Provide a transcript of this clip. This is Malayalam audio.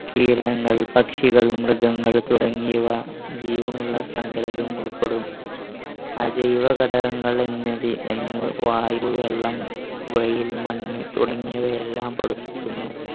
പക്ഷികൾ മൃഗങ്ങൾ തുടങ്ങിയവ ജീവനുള്ള ഉൾപ്പെടും ആ ജൈവ ഘടകങ്ങൾ എന്നിവ എന്ന് വായു വെള്ളം വെയിൽ മണ്ണ് തുടങ്ങിയവ എല്ലാം പെടും